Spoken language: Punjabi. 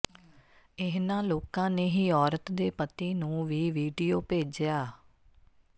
ਇਨ੍ਹਾਂ ਲੋਕਾਂ ਨੇ ਹੀ ਔਰਤ ਦੇ ਪਤੀ ਨੂੰ ਵੀ ਵੀਡੀਓ ਭੇਜਿਆ